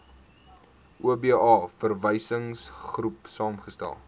oba verwysingsgroep saamgestel